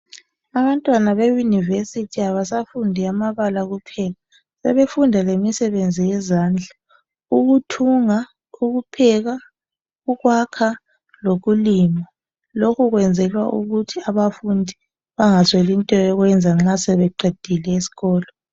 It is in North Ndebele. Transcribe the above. Abantwana beyunivesithi abafundi amabala kuphela sebefunda lemisebenzi yezandla ukuthunga, ukupheka, ukwakha lokulima lokhu kwenzelwa ukuthi abafundi bangasweli into yokwenza nxa sebeqedile esikolo.